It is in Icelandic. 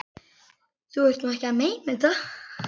Þú ert nú ekki að meina þetta!